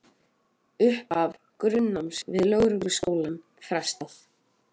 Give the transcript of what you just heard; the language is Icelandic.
Upphafi grunnnáms við lögregluskólann frestað